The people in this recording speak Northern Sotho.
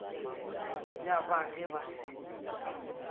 ya ba ge ba se